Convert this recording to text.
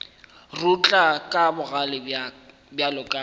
rutla ka bogale bjalo ka